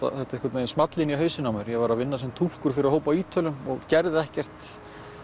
þetta small í hausinn á mér ég var að vinna sem túlkur fyrir hóp af Ítölum og gerði ekkert